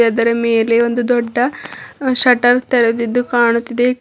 ಅದರ ಮೇಲೆ ಒಂದು ದೊಡ್ಡ ಷಟರ್ ತೆರೆದಿದ್ದು ಕಾಣುತಿದೆ..